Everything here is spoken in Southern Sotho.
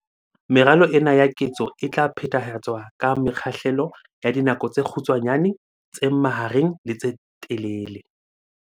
Meralo ena ya ketso e tla phethahatswa ka mekgahlelo ya dinako tse kgutshwanyane, tse mahareng le tse telele.